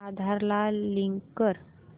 आधार ला लिंक कर